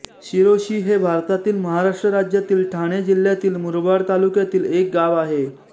शिरोशी हे भारतातील महाराष्ट्र राज्यातील ठाणे जिल्ह्यातील मुरबाड तालुक्यातील एक गाव आहे